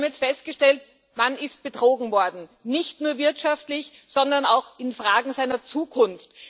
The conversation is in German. Wir haben jetzt festgestellt Man ist betrogen worden nicht nur wirtschaftlich, sondern auch in Fragen der Zukunft.